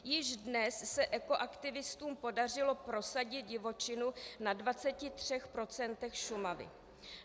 Již dnes se ekoaktivistům podařilo prosadit divočinu na 23 % Šumavy.